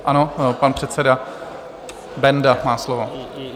Ano, pan předseda Benda má slovo.